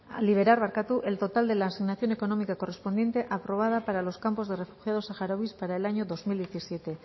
liderar barkatu el total de la asignación económica correspondiente aprobada para los campos de refugiados saharauis para el año dos mil diecisiete